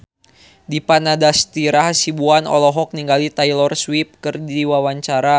Dipa Nandastyra Hasibuan olohok ningali Taylor Swift keur diwawancara